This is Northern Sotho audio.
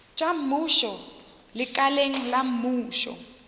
tša mmušo lekaleng la mmušo